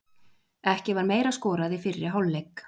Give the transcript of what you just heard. Ekki var meira skorað í fyrri hálfleik.